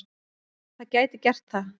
Það gæti gert það.